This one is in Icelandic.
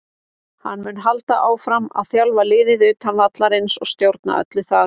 Hann mun halda áfram að þjálfa liðið utan vallarins og stjórna öllu þar.